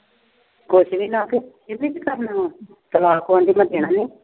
ਕੁਛ ਵੀ ਨਾ। ਇਹਨੇ ਕੀ ਕਰਨਾ। ਤਲਾਕ ਉਂਝ ਨੀ ਦਿੰਦੇ।